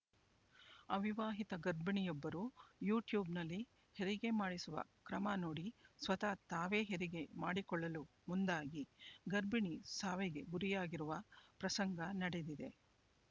ಅವಿವಾಹಿತ ಗರ್ಭಿಣಿಯೊಬ್ಬರು ಯು ಟ್ಯೂಬ್‌ನಲ್ಲಿ ಹೆರಿಗೆ ಮಾಡಿಸುವ ಕ್ರಮ ನೋಡಿ ಸ್ವತಃ ತಾವೇ ಹೆರಿಗೆ ಮಾಡಿಕೊಳ್ಳಲು ಮುಂದಾಗಿ ಗರ್ಭಿಣಿ ಸಾವಿಗೆ ಗುರಿಯಾಗಿರುವ ಪ್ರಸಂಗ ನಡೆದಿದೆ